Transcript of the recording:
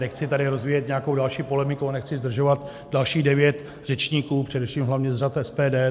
Nechci tady rozvíjet nějakou další polemiku a nechci zdržovat dalších devět řečníků, především hlavně z řad SPD.